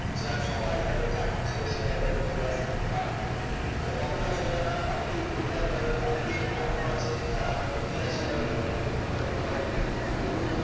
teacher সবাই তাদের চাকরি ছেড়ে শেয়ার বাজারে চলে আসতেন earn করতে তো অতটাই সোজা না অনেকেই ভুলভাল বলে অনেকেই এমন‌ও আছে যারা নিজেরা শেয়ার বাজার থেকে উপার্জন করেনি তবুও